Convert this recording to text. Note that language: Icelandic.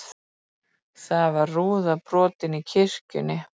Þá var rúða brotin í kirkjunni